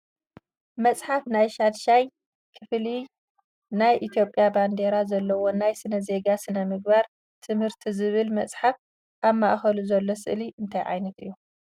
መፅሓፍ ናይ ሻድሻይ ክፍሊ ናይ ኢትዮጵያ ባንዴራ ዘለዎ ናይ ስነ ዜጋ ሥነ ምግባር ትምህርት ዝብል መፅሓፍ ኣብ ማእከሉ ዘሎ ስእሊ ናይ እንታይ እዩ ?